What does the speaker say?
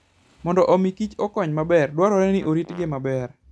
Mondo omi kich okony maber, dwarore ni oritgi maber.